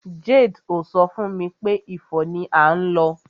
Jade ò so fún mi pé Ifo ni à ń lọ.